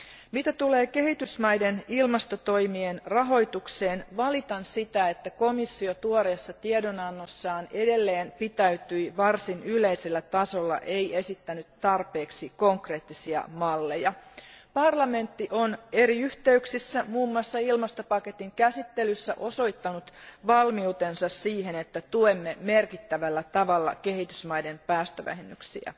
Mitä tulee kehitysmaiden ilmastotoimien rahoitukseen, valitan sitä, että komissio tuoreessa tiedonannossaan edelleen pitäytyi varsin yleisellä tasolla eikä esittänyt tarpeeksi konkreettisia malleja. Parlamentti on eri yhteyksissä, muun muassa ilmastopaketin käsittelyssä, osoittanut valmiutensa siihen, että tuemme merkittävällä tavalla kehitysmaiden päästövähennyksiä.